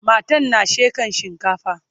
matan na shekan shinkafa